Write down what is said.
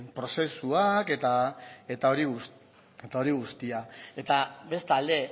prozesuak eta hori guztia eta bestalde